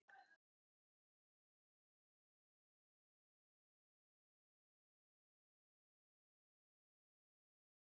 Þorbjörn: Er þetta upphaf endurreists hlutabréfamarkaðar á Íslandi?